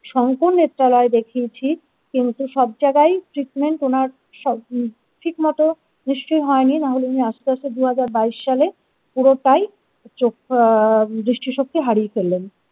শংকর নেত্রালয় দেখিয়েছি কিন্তু সব জায়গায় treatment ওনার সব ঠিক মতো নিশ্চয়ই হয়নি না হলে উনি আস্তে আস্তে দু হাজার বাইশ সালে পুরোটাই চোখ আ দৃষ্টিশক্তি হারিয়ে ফেললেন।